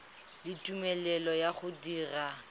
le tumelelo ya go dira